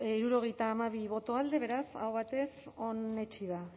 hirurogeita hamabi boto alde beraz aho batez onetsi da